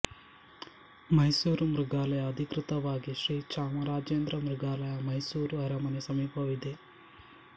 ಮೈಸೂರು ಮೃಗಾಲಯ ಅಧಿಕೃತವಾಗಿ ಶ್ರೀ ಚಾಮರಾಜೇಂದ್ರ ಮೃಗಾಲಯ ಮೈಸೂರು ಅರಮನೆ ಸಮೀಪವಿದೆ